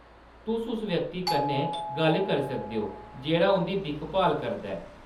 तुस उस व्यक्ति कन्नै गल्ल करी सकदे ओ जेह्‌‌ड़ा उंʼदी दिक्ख-भाल करदा ऐ।